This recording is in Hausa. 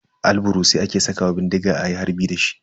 Albarusai ake sakawa bindiga ayi harbi dashi.